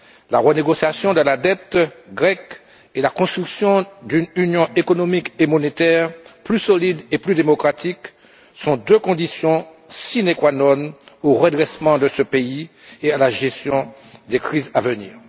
La renégociation de la dette grecque et la construction d'une union économique et monétaire plus solide et plus démocratique sont deux conditions sine qua non au redressement de ce pays et à la gestion des crises à venir.